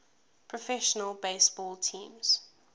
professional baseball teams